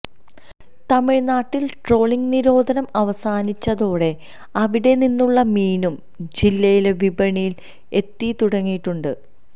തമിഴ്നാട്ടിൽ ട്രോളിങ് നിരോധനം അവസാനിച്ചതോടെ അവിടെനിന്നുള്ള മീനും ജില്ലയിലെ വിപണിയിൽ എത്തിത്തുടങ്ങിയിട്ടുണ്ട്